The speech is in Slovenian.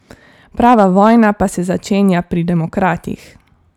Prava vojna pa se začenja pri demokratih.